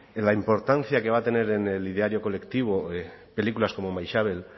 en la importancia que va a tener en el ideario colectivo películas como maixabel